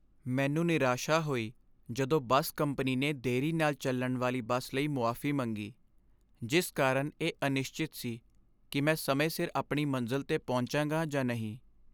ਮੈਨੂੰ ਨਿਰਾਸ਼ਾ ਹੋਈ ਜਦੋਂ ਬੱਸ ਕੰਪਨੀ ਨੇ ਦੇਰੀ ਨਾਲ ਚੱਲਣ ਵਾਲੀ ਬੱਸ ਲਈ ਮੁਆਫੀ ਮੰਗੀ, ਜਿਸ ਕਾਰਨ ਇਹ ਅਨਿਸ਼ਚਿਤ ਸੀ ਕਿ ਮੈਂ ਸਮੇਂ ਸਿਰ ਆਪਣੀ ਮੰਜ਼ਿਲ 'ਤੇ ਪਹੁੰਚਾਂਗਾ ਜਾਂ ਨਹੀਂ।